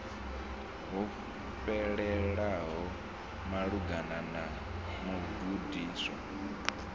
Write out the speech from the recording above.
ho fhelelaho malugana na mugudiswa